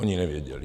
Oni nevěděli.